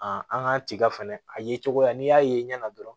an k'an tiga fɛnɛ a ye cogoya n'i y'a ye ɲɛ na dɔrɔn